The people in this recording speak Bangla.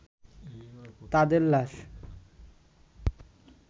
তাদের লাশ